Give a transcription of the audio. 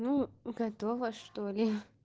ну готова что-ли